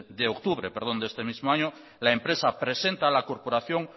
de octubre de este mismo año la empresa presenta a la corporación